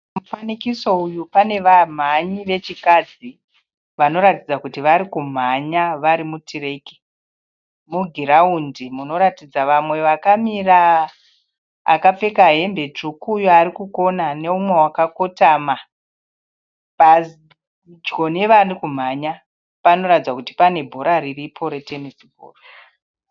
Mufanikiso uyu pane vamhanyi vechikadzi. Vanoratidza kuti varikumhanya varimu tireki. Mugiraundi munoratidza vamwe vakamira , akapfeka hembe tsvuku uyo arikukona neumwe wakakotama. Padyo nevari kumhanya panoratidza kuti pane bhora riripo re tenesi bhora